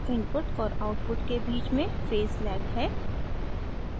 input और output के बीच में phase lag है